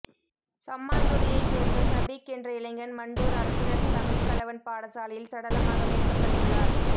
சம்மாந்துறையைச் சேர்ந்த சபீக் என்ற இளைஞன் மண்டூர் அரசினர் தமிழ் கலவன் பாடசாலையில் சடலமாக மீட்கப்பட்டுள்ளார்